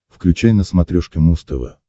включай на смотрешке муз тв